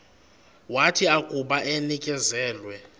wathi akuba enikezelwe